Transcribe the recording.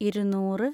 ഇരുനൂറ്